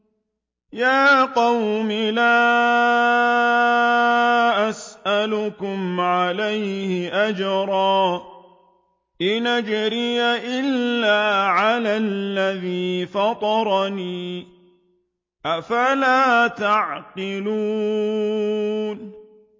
يَا قَوْمِ لَا أَسْأَلُكُمْ عَلَيْهِ أَجْرًا ۖ إِنْ أَجْرِيَ إِلَّا عَلَى الَّذِي فَطَرَنِي ۚ أَفَلَا تَعْقِلُونَ